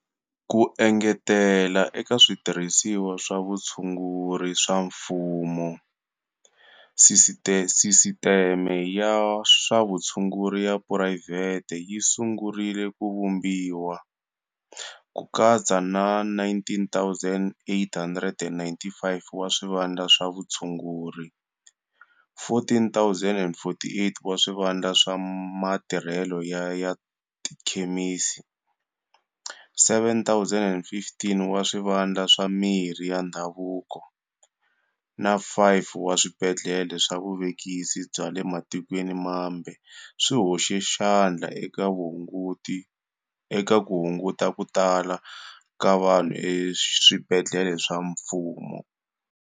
Ku engetela eka switirhisiwa swa vutshunguri swa mfumo, sisiteme ya swa vutshunguri ya phurayivhete yi sungurile ku vumbiwa, ku katsa na 19,895 wa swivandla swa vutshunguri, 14,048 wa swivandla swa matirhelo ya tikhemisi, 7,015 wa swivandla swa mirhi ya ndhavuko, na 5 wa swibedlhele swa vuvekisi bya le matikweni mambe swi hoxe xandla eka ku hunguta ku tala ka vanhu eswibedlhele swa mfumo.